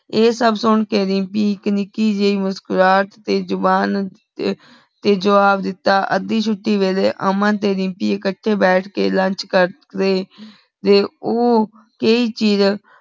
ਆਯ ਸਬ ਸੁਨ ਕੇ ਦਿਮ੍ਪੀ ਏਇਕ ਨਿਕੀ ਜੈ ਮੁਸਕੁਰਾਹਟ ਤੇ ਜ਼ੁਬਾਨ ਤੇ ਜਵਾਬ ਦਿਤਾ ਅਧਿ ਛੁਟੀ ਵੀਲਾਯ ਅਮਨ ਤੇ ਦਿਮ੍ਪੀ ਇਕਠੀ ਬੈਠ ਕੇ lunch ਕਰ ਰਹੀ ਤੇ ਊ ਕੇਰੀ ਚੀਜ਼